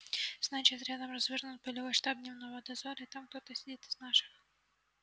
значит рядом развернут полевой штаб дневного дозора и там сидит кто-то из наших